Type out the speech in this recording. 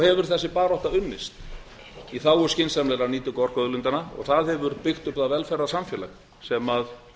hefur þessi barátta unnist í þágu skynsamlegrar nýtingu orkuauðlindanna og það hefur byggt upp það velferðarsamfélag sem